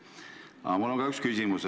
Aga mul on ka üks küsimus.